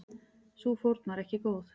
Sú fórn var ekki góð.